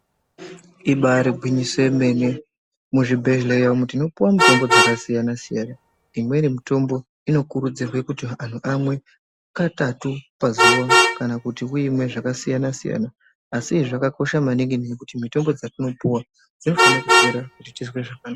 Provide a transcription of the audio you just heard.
Ibari gwinyiso yemene muzvibhehleya umu tinopuwe mitombo dzakasiyana -siyana, imweni mitombo inokurudzirwe kuti anhu vamwe katatu pazuwa kana kuti uimwe zvakasiyana -siyana ngekuti mitombo dzatinopuwa dzinofanira kupera kuti tizwe zvakanaka